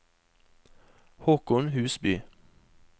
Håkon Husby